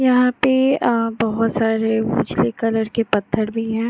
यहां पे अऽ बहुत सारे उजली कलर के पत्थर भी हैं।